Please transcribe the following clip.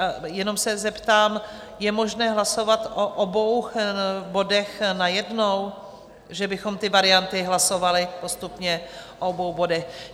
A jenom se zeptám, je možné hlasovat o obou bodech najednou, že bychom ty varianty hlasovali postupně o obou bodech?